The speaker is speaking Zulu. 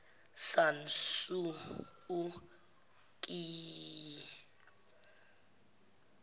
san suu kyi